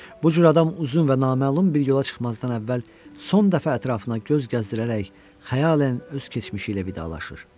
Bu cür adam uzun və naməlum bir yola çıxmazdan əvvəl son dəfə ətrafına göz gəzdirərək xəyalən öz keçmişi ilə vidalaşır.